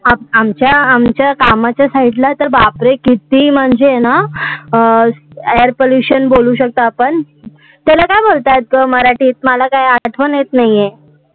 आमच्या आमच्या तर कामाच्या side ला तर बापरे किती म्हणजे ना अं air pollution बोलू शकतो, आपण त्याला काय बोलतात मराठीत? मला काय आठवण येत नाही आहे